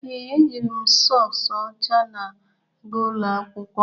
Ee, ejiri m sọks ọcha na-aga ụlọ akwụkwọ.